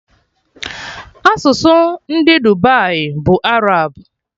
Asụsụ ndị Dubai bụ Arab